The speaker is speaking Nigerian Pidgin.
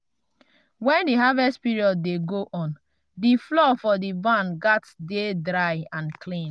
when di harvest period dey go on the floor for the barn gats dey dry and clean.